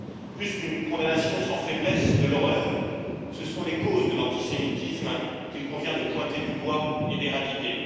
Plus qu'une condamnation sans faiblesse de l'horreur, ce sont les causes de l'antisémitisme qu'il convient de pointer du doigt et d'éradiquer.